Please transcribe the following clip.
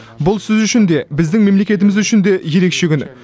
бұл сіз үшін де біздің мемлекетіміз үшін де ерекше күн